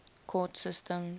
court systems